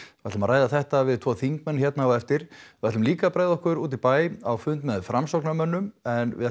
við ætlum að ræða þetta við tvo þingmenn hérna á eftir við ætlum líka að bregða okkur út í bæ á fund með Framsóknarmönnum en við